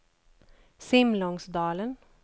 Simlångsdalen